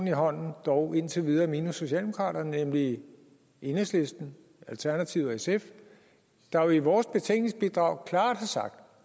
i hånden dog indtil videre minus socialdemokraterne nemlig enhedslisten alternativet og sf der jo i vores betænkningsbidrag klart har sagt